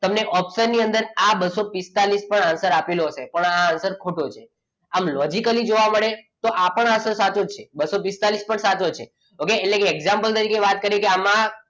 તમને ઓપ્શન ની અંદર આ બસો પિસ્તાળીસ પણ answer આપેલો હશે પણ આ answer ખોટો છે આમ લોજીકલી જોવા મળે તો આપણા અનુસાર સાચો છે બસો પિસ્તાળીસ પણ સાચો છે okay એટલે કે example તરીકે વાત કરીએ કે આમાં,